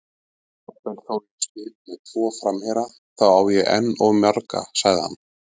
Jafnvel þó ég spili með tvo framherja, þá á ég enn of marga, sagði hann.